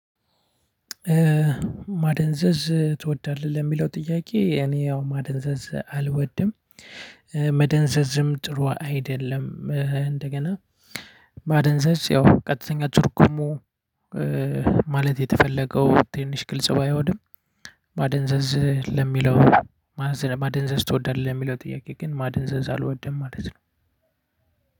ማደንዘዝ ትወዳለህ ለሚለው ጥያቄ እኔ ያው ማደንዘዝ አልወድም። መደንዘዝም ጥሩ አይደለም። እንደገና ማደንዘዝ ያው ቀጥተኛ ጥርጉሙ። ማለት የተፈለገው ትንሽ ግልጽ ባይሆንም። ማደንዘዝ ለሚለው። ማደንዘዝ ትወዳለህ ለሚለው ጥያቄ ግን ማደንዘዝ አልወድም ማለት ነው።